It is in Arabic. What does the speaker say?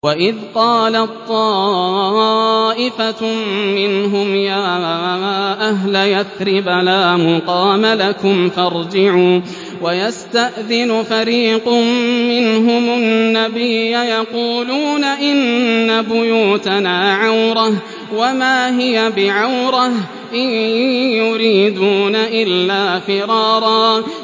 وَإِذْ قَالَت طَّائِفَةٌ مِّنْهُمْ يَا أَهْلَ يَثْرِبَ لَا مُقَامَ لَكُمْ فَارْجِعُوا ۚ وَيَسْتَأْذِنُ فَرِيقٌ مِّنْهُمُ النَّبِيَّ يَقُولُونَ إِنَّ بُيُوتَنَا عَوْرَةٌ وَمَا هِيَ بِعَوْرَةٍ ۖ إِن يُرِيدُونَ إِلَّا فِرَارًا